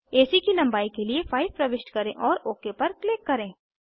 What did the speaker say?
AC की लंबाई के लिए 5 प्रविष्ट करें और ओक पर क्लिक करें